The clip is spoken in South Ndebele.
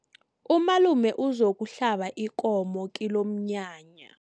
Umalume uzokuhlaba ikomo kilomnyanya.